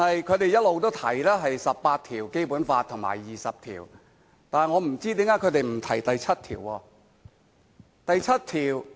他們一直提及《基本法》第十八及二十條，但我不知道為何他們不提及第七條？